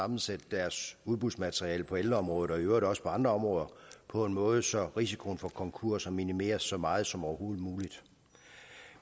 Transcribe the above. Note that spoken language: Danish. sammensætte deres udbudsmateriale på ældreområdet og i øvrigt også på andre områder på en måde så risikoen for konkurser minimeres så meget som overhovedet muligt